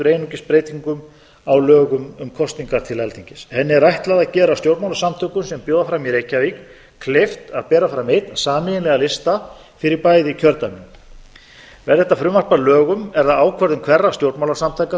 einungis breytingu á lögum um kosningar til alþingis henni er ætlað að gera stjórnmálasamtökum sem bjóða fram í reykjavík kleift að bera fram einn sameiginlegan lista fyrir bæði kjördæmin verði þetta frumvarp að lögum er það ákvörðun hverra stjórnmálasamtaka